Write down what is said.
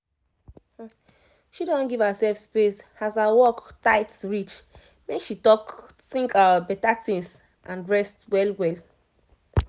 she don give herself space as her work tight reach make she talk think better things and rest well well